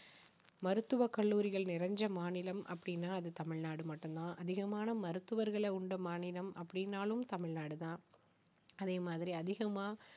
மருத்துவக் கல்லூரிகள் நிறைஞ்ச மாநிலம் அப்படின்னா அது தமிழ்நாடு மட்டும் தான் அதிகமான மருத்துவர்களை உள்ள மாநிலம் அப்படின்னாலும் தமிழ்நாடு தான் அதே மாதிரி அதிகமா